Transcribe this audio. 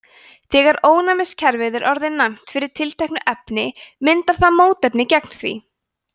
þegar ónæmiskerfið er orðið næmt fyrir tilteknu efni myndar það mótefni gegn því